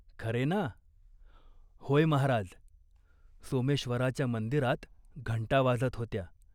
खरे ना ?" "होय महाराज !" सोमेश्वराच्या मंदिरात घंटा वाजत होत्या.